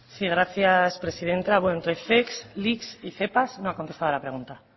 sí gracias presidenta bueno entre zec lic y zepa no ha contestado a la pregunta